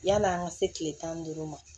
Yann'an ka se kile tan ni duuru ma